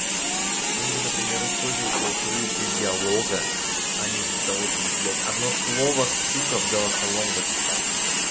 ну или например использовать голосовые для диалога а не для того чтобы блядь одно слово сука в голосовом записать